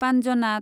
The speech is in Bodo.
पान्जनाद